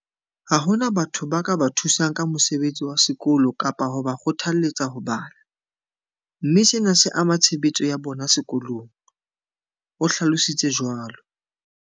Ha hona batho ba ka ba thusang ka mosebetsi wa sekolo kapa ho ba kgothalletsa ho bala, mme sena se ama tshebetso ya bona sekolong, o hlalo sitse jwalo.